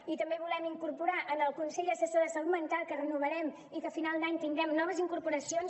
i també volem incorporar en el consell assessor de salut mental que renovarem i que al final d’any tindrem noves incorporacions